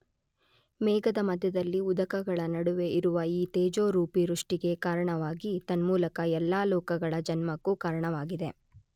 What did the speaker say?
ಮೇಘದ ಮಧ್ಯದಲ್ಲಿ ಉದಕಗಳ ನಡುವೆ ಇರುವ ಈ ತೇಜೋರೂಪಿ ವೃಷ್ಟಿಗೆ ಕಾರಣವಾಗಿ ತನ್ಮೂಲಕ ಎಲ್ಲ ಲೋಕಗಳ ಜನ್ಮಕ್ಕೂ ಕಾರಣವಾಗಿದೆ.